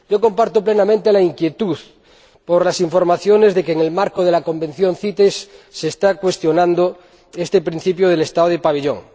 Yo comparto plenamente la inquietud ante las informaciones de que, en el marco de la Convención CITES, se está cuestionando este principio del Estado del pabellón.